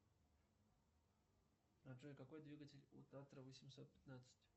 джой какой двигатель у татра восемьсот пятнадцать